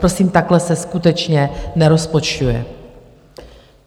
Prosím, takhle se skutečně nerozpočtuje.